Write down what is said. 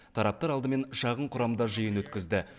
тараптар алдымен шағын құрамда жиын өткізді